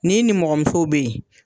N'i nimɔgɔmusow be ye